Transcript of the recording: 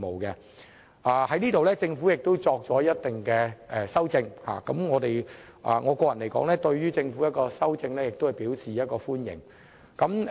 就此，政府亦作出了相應的修訂，我個人對政府的修正案表示歡迎。